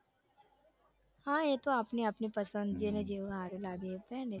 હા એતો આપણી આપણી પસંદગી ને જેવું હારું લાગે એ પેહને